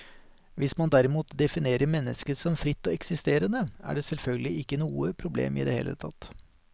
Hvis man derimot definerer mennesket som fritt og eksisterende, er det selvfølgelig ikke noe problem i det hele tatt.